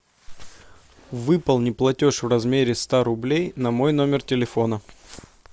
выполни платеж в размере ста рублей на мой номер телефона